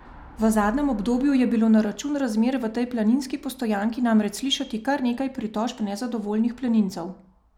V zadnjem obdobju je bilo na račun razmer v tej planinski postojanki namreč slišati kar nekaj pritožb nezadovoljnih planincev.